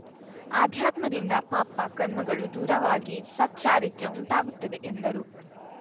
ಅಧ್ಯಾತ್ಮದಿಂದ ಪಾಪ ಕರ್ಮಗಳು ದೂರಾವಾಗಿ ಸತ್‌ ಚಾರಿತ್ರ್ಯ ಉಂಟಾಗುತ್ತದೆ ಎಂದರು